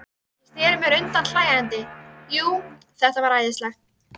Ég sneri mér undan hlæjandi, jú, þetta var æðislegt.